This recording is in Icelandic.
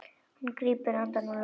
Hann grípur andann á lofti.